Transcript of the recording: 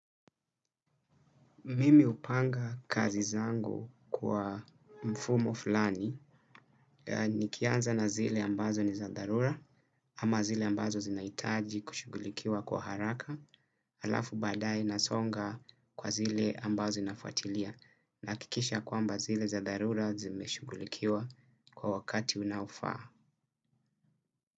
Mimi upanga kazi zangu kwa mfumo fulani ni kianza na zile ambazo ni za darura ama zile ambazo zinaitaji kushugulikiwa kwa haraka alafu badae nasonga kwa zile ambazo zinafwatilia nakikisha kwamba zile za darura zimeshugulikiwa kwa wakati unaofaa.